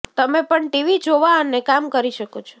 તમે પણ ટીવી જોવા અને કામ કરી શકો છો